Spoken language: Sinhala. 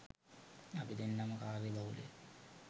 අපි දෙන්නම කාර්ය බහුල